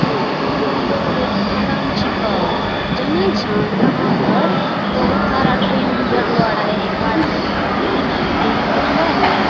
देख अ इ प्लेटफार्म छिको | जानहि छै यहाँ पर बहुत सारा ट्रैन गुजरले रहै | एक बार हम गेलो ररलिए ना त यही बइठलीय ।